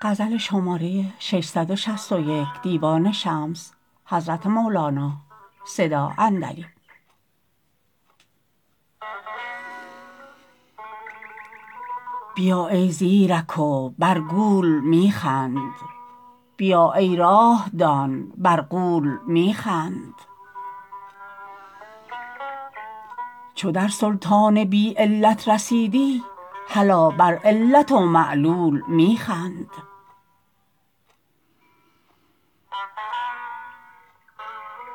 بیا ای زیرک و بر گول می خند بیا ای راه دان بر غول می خند چو در سلطان بی علت رسیدی هلا بر علت و معلول می خند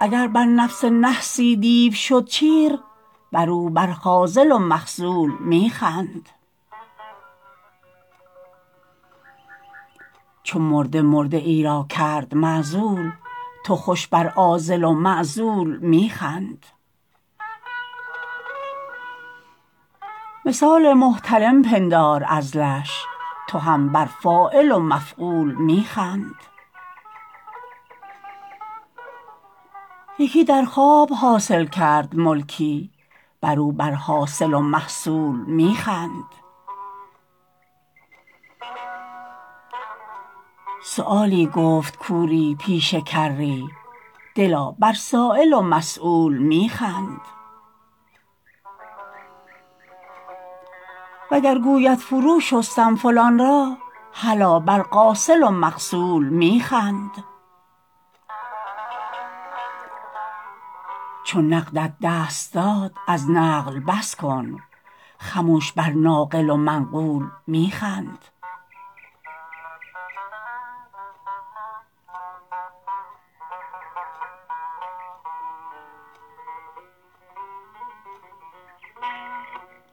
اگر بر نفس نحسی دیو شد چیر برو بر خاذل و مخذول می خند چو مرده مرده ای را کرد معزول تو خوش بر عازل و معزول می خند مثال محتلم پندار عزلش تو هم بر فاعل و مفعول می خند یکی در خواب حاصل کرد ملکی برو بر حاصل و محصول می خند سؤالی گفت کوری پیش کری دلا بر سایل و مسول می خند وگر گوید فروشستم فلان را هلا بر غاسل و مغسول می خند چو نقدت دست داد از نقل بس کن خمش بر ناقل و منقول می خند